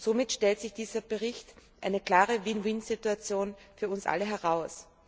Somit stellt sich dieser Bericht als eine klare win win Situation für uns alle heraus.